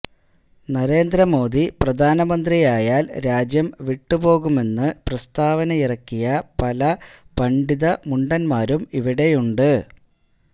നരേന്ദ്രമോദി പ്രധാനമന്ത്രിയായാല് രാജ്യം വിട്ടുപോകുമെന്ന് പ്രസ്താവനയിറക്കിയ പല പണ്ഡിത മുണ്ടന്മാരും ഇവിടെയുണ്ട്